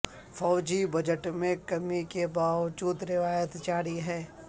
فوجی بجٹ میں کمی کے باوجود روایت جاری ہے